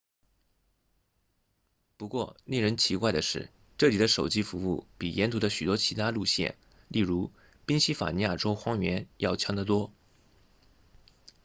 不过令人奇怪的是这里的手机服务比沿途的许多其他路线例如宾夕法尼亚州荒原要强得多